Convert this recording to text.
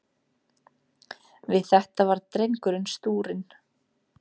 Við þetta varð drengurinn stúrinn.